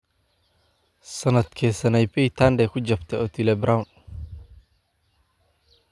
sanadkee sanaipei tande ku jabtay otile brown